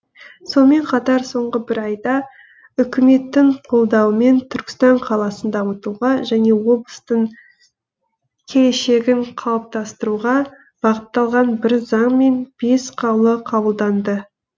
сонымен қатар соңғы бір айда үкіметтің қолдауымен түркістан қаласын дамытуға және облыстың келешегін қалыптастыруға бағытталған бір заң мен бес қаулы қабылданды